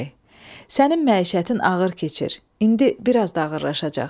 Sənin məişətin ağır keçir, indi biraz da ağırlaşacaq.